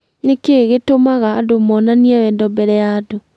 Nĩ kĩĩ gĩtũmaga andũ monanie wendo mbere ya andũ